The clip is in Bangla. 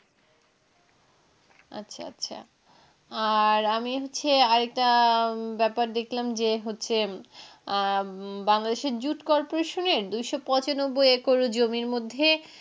আচ্ছা আচ্ছা আর আমি হচ্ছে আরেকটা ব্যাপার দেখলাম যে হচ্ছে আহ বাংলাদেশের জুট কল কর্পোরেশনের দু শ পচানব্বই একর জমির মধ্যে